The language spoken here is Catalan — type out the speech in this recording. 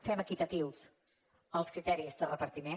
fem equitatius els criteris de repartiment